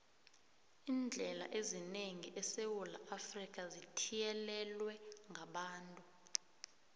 iindlela eziningi esewula afrika zithiyelelwe ngabantu